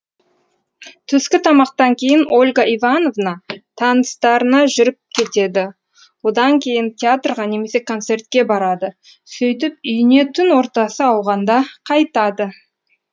түскі тамақтан кейін ольга ивановна таныстарына жүріп кетеді одан кейін театрға немесе концертке барады сөйтіп үйіне түн ортасы ауғанда қайтады